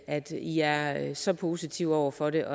at i er så positive over for det